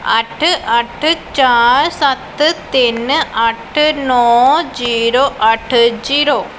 ਅੱਠ ਅੱਠ ਚਾਰ ਸੱਤ ਤਿੰਨ ਅੱਠ ਨੋਂ ਜਿਰੋ ਅੱਠ ਜੀਰੋ ।